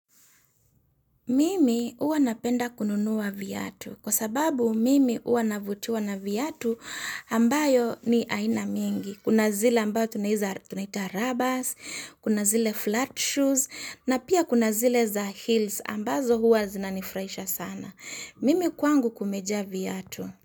Mimi huwa napenda kununua viatu, kwa sababu mimi huwa navutiwa na viatu ambayo ni aina mingi. Kuna zile ambayo tunaita rubbers, kuna zile flat shoes na pia kuna zile za heels ambazo huwa zinanifuraisha sana. Mimi kwangu kumejaa viatu.